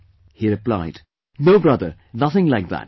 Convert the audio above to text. " He replied, "No brother, nothing like that